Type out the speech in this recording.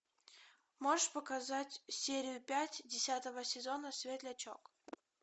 можешь показать серию пять десятого сезона светлячок